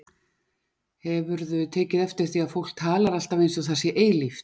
Hefurðu tekið eftir því að fólk talar alltaf eins og það sé eilíft?